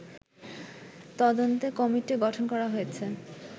তদন্তে কমিটি গঠন করা হয়েছে